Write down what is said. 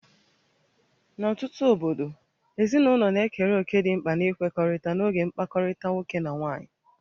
N'ọtụtụ obodo, ezinụlọ na-ekere òkè dị mkpa n'ikwekọrịta n'oge mkpakọrịta nwoke na nwaanyị